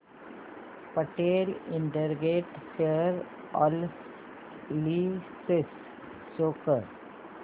Patel integrated share analysis show कर